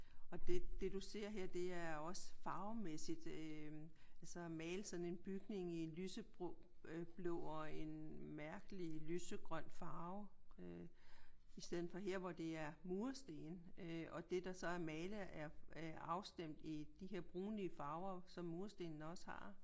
Og det det du ser her det er også farvemæssigt øh altså at male sådan en bygning i en lyseblå og en mærkelig lysegrøn farve. I stedet for her hvor det er mursten og det der så er malet er afstemt i de her brunlige farver som murstenene også har